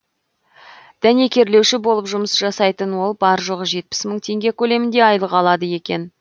дәнекерлеуші болып жұмыс жасайтын ол бар жоғы жетпіс мың теңге көлемінде айлық алады екен